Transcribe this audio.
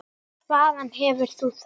Hvaðan hefur þú það?